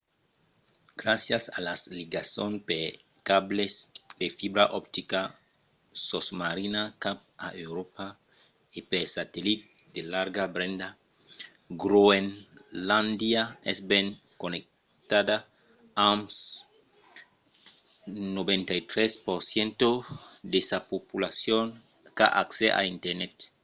gràcias a las ligasons per cables de fibra optica sosmarina cap a euròpa e per satellit de larga benda groenlàndia es ben connectada amb 93% de sa populacion qu'a accès a internet